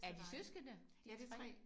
Er de søskende de 3?